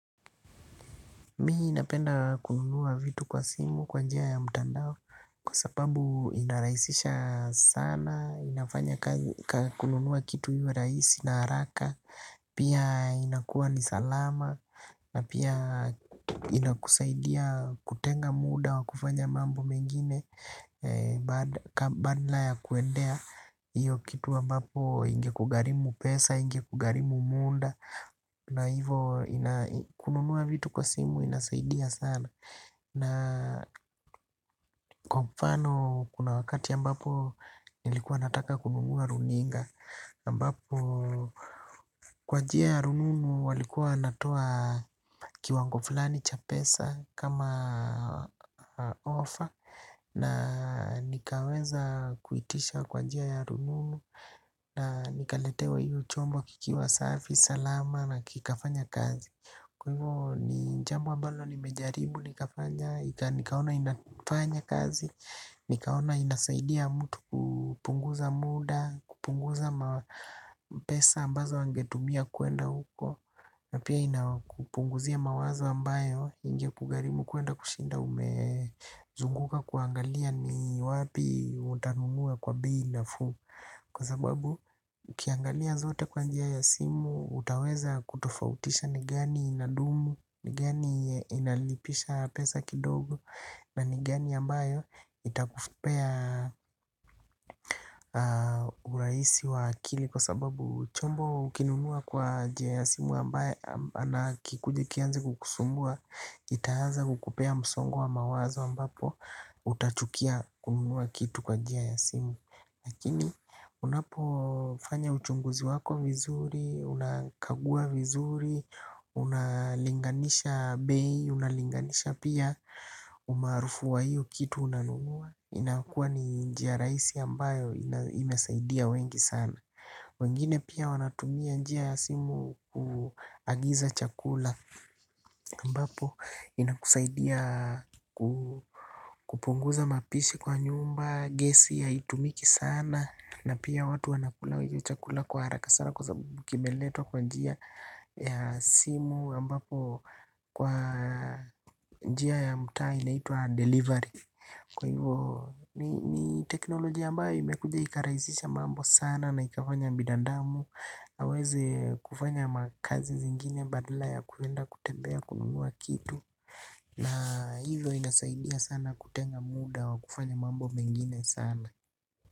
Mimi napenda kununua vitu kwa simu kwa njia ya mtandao kwa sababu inarahisisha sana, inafanya kununua kitu iwe rahisi na haraka, pia inakuwa ni salama, na pia inakusaidia kutenga muda wa kufanya mambo mengine badala kuendea hiyo kitu ambapo ingekugharimu pesa ingekugharimu muda. Na hivo kununua vitu kwa simu inasaidia sana. Na kwa kwa mfano kuna wakati ambapo nilikuwa nataka kununua runinga ambapo kwa njia ya rununu walikuwa wanatoa kiwango fulani cha pesa kama ofa. Na nikaweza kuitisha kwa jia ya rununu. Na nikaletewa hiyo chombo kikiwa safi, salama na kikafanya kazi. Kwa hivyo ni jambo ambalo nimejaribu nikafanya, nikaona inafanya kazi, nikaona inasaidia mtu kupunguza muda, kupunguza pesa ambazo angetumia kwenda huko. Na pia inakupunguzia mawazo ambayo ingekugharimu kwenda kushinda umezunguka kuangalia ni wapi utanunua kwa bei nafuu. Kwa sababu, ukiangalia zote kwa njia ya simu, utaweza kutofautisha ni gani inadumu, ni gani inalipisha pesa kidogo, na ni gani ambayo itakupea urahisi wa akili. Kwa sababu, chombo ukinunua kwa njia ya simu ambaye na kikuje kianze kukusumbua, itaanza kukupea msongo wa mawazo ambapo, utachukia kununua kitu kwa njia ya simu. Lakini unapofanya uchunguzi wako vizuri, unakagua vizuri, unalinganisha bei, unalinganisha pia umaarufu wa iyo kitu unanunua. Inakua ni njia rahisi ambayo imesaidia wengi sana. Wengine pia wanatumia njia ya simu kuagiza chakula ambapo inakusaidia kupunguza mapishi kwa nyumba, gesi ya haitumiki sana. Na pia watu wanakula chakula kwa haraka sana kwa sababu kimeletwa kwa njia ya simu ambapo kwa njia ya mtaa inaitwa delivery. Kwa hivyo ni teknolojia ambayo imekuja ikarahisisha mambo sana na ikafanya binadamu. Aweze kufanya makazi zingine badala ya kwenda kutembea kununua kitu. Na hivyo inasaidia sana kutenga muda wa kufanya mambo mengine sana.